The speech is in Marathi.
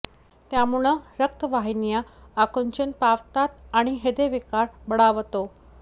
त्यामुळं रक्त वाहिन्या आकुंचन पावतात आणि ह्रदय विकार बळावतो